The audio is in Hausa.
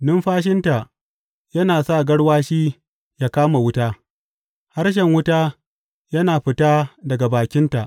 Numfashinta yana sa garwashi yă kama wuta, harshen wuta yana fita daga bakinta.